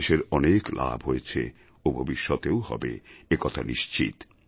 দেশের অনেক লাভ হয়েছে ও ভবিষ্যতেও হবে একথা নিশ্চিত